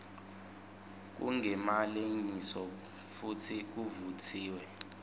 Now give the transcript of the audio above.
kungemalengiso futsi kuvutsiwe